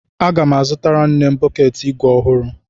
Aga m azụtara nne m bọkeetị igwe ọhụrụ.